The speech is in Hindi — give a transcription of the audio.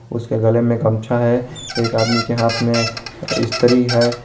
उसके गले में गमछा है एक आदमी के हाथ में स्त्री है।